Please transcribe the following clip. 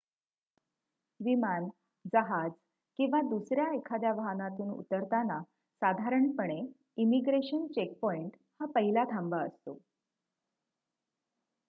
विमान जहाज किंवा दुसऱ्या एखाद्या वाहनातून उतरताना साधारणपणे इमिग्रेशन चेकपॉईंट हा पहिला थांबा असतो